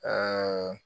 Aa